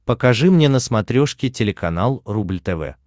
покажи мне на смотрешке телеканал рубль тв